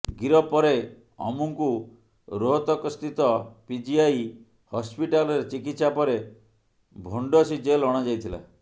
ଗିରଫ ପରେ ଅମୁଙ୍କୁ ରୋହତକସ୍ଥିତ ପିଜିଆଇ ହସ୍ପିଟାଲରେ ଚିକିତ୍ସା ପରେ ଭୋଣ୍ଡସି ଜେଲ ଅଣାଯାଇଥିଲା